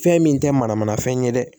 Fɛn min tɛ manamanafɛn ye dɛ